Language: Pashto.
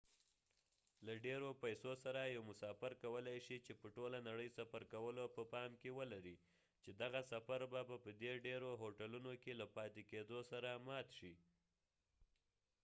له ډيرو پیسو سره یو مسافر کولی شي چې په ټوله نړۍ سفر کولو په پام کې ولري چې دغه سفر به په دې ډیرو هوټلونو کې له پاتې کیدو سره مات شي